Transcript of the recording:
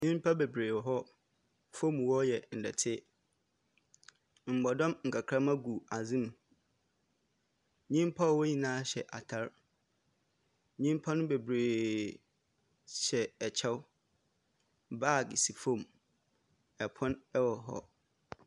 Nyimpa beberee wɔ hɔ, famu hɔ yɛ dɛtse, mbɔdɔm nkakramba gu adze mu, nyimpa a wɔwɔ hɔ nyina hyɛ atar. Nyimpa no beberee hyɛ kyɛw, baage si famu, pon wɔ hɔ.